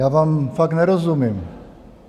Já vám fakt nerozumím.